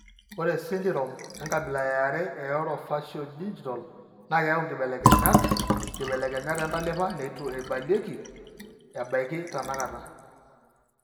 Ore esindirom enkabila eare eOrofaciodigital naa keyau inkibelekenyat(inkibelekenyat) entalipa neitu eibalieki ebaiki enakata.